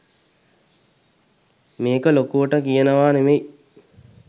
මේක ලොකුවකට කියනවා නෙවෙයි